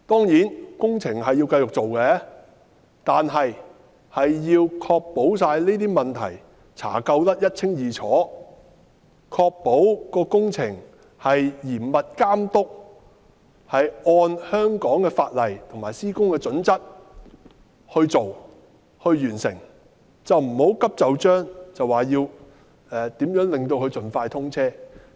有關工程當然要繼續進行，但要確保這些問題查究得一清二楚，確保工程嚴密監督，按香港法例及施工準則進行及完成，不要急就章地令沙中線盡快通車。